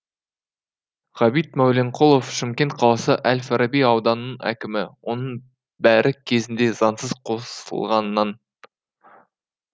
ғабит мәуленқұлов шымкент қаласы әл фараби ауданының әкімі оның бәрі кезінде заңсыз қосылғаннан